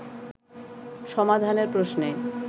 সমাধানের প্রশ্নে